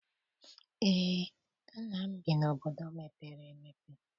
Eé, nna m bi n'obodo mepere emepe.